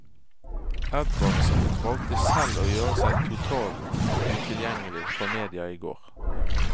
Edvardsen valgte selv å gjøre seg totaltutilgjengelig for media i går.